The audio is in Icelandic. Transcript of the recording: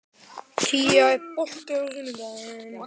Kía, er bolti á sunnudaginn?